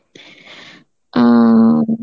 অ্যাঁ